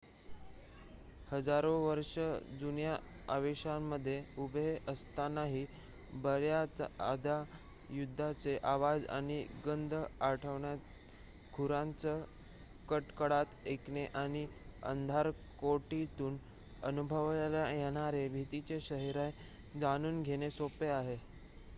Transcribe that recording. हजारो वर्ष जुन्या अवशेषांमध्ये उभे असतानाही बर्‍याचदा युद्धाचे आवाज आणि गंध आठवणे खुरांचा कडकडाट ऐकणे आणि अंधारकोठडीतून अनुभवला येणारे भीतीचे शहारे जाणून घेणे सोपे आहे